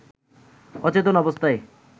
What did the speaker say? অচেতন অবস্থায়